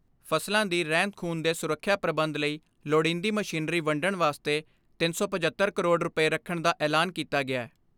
ਫਸਲਾਂ ਦੀ ਰਹਿੰਦ ਖੂੰਹਦ ਦੇ ਸੁਰੱਖਿਆ ਪ੍ਰਬੰਧ ਲਈ ਲੋੜੀਂਦੀ ਮਸ਼ੀਨਰੀ ਵੰਡਣ ਵਾਸਤੇ ਤਿੰਨ ਸੌ ਪਝੱਤਰ ਕਰੋੜ ਰੁਪਏ ਰੱਖਣ ਦਾ ਐਲਾਨ ਕੀਤਾ ਗਿਐ।